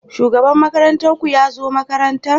Shugaban makarantar ku ya zo makaranta?